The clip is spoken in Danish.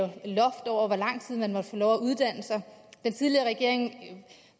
et loft over hvor lang tid man måtte have lov at uddanne sig den tidligere regering